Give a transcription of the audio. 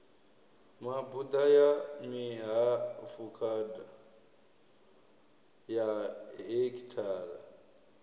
mabuḓa ya mihafukhada ya hekhithara